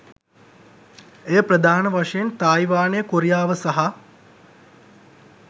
එය ප්‍රධාන වශයෙන් තායිවානය, කොරියාව සහ